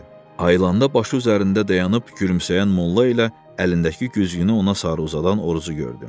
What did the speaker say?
Ayılanda başı üzərində dayanıb gülümsəyən molla ilə əlindəki güzgünü ona sarı uzadan orucu gördü.